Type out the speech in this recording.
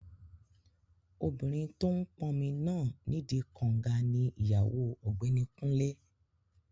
Obìnrin tó n pọnmi náà nídi kànga ní ìyàwó ọ̀gbẹ́ni Kúnlé